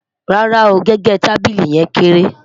rárá o, gẹgẹ tábìlì yen kékeré